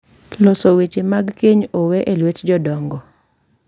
Loso weche mag keny owe e lwet jodongo.